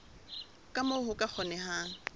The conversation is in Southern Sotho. ka moo ho ka kgonehang